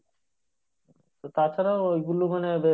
তো তা ছাড়া ওই